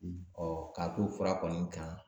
kɔ k'a to fura kɔni kan